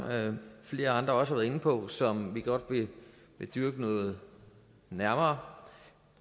flere andre også har været inde på som vi godt vil dyrke noget nærmere